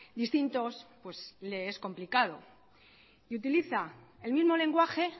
distintos pues le es complicado y utiliza el mismo lenguaje